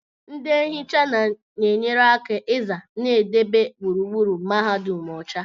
Ndị nhịcha na-enyere aka ịza na idebe gburugburu Mahadum ọcha